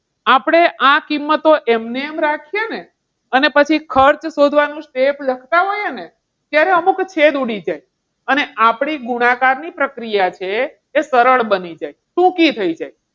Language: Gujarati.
આપણે આ કિંમતો એમનેમ રાખીએ ને અને પછી ખર્ચ શોધવાનું લખતા હોઈએ ને ત્યારે અમુક છેદ ઉડી જાય અને આપણી ગુણાકારની પ્રક્રિયા છે તે સરળ બની જાય ટૂંકી થઈ જાય.